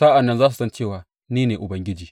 Sa’an nan za su san cewa ni ne Ubangiji.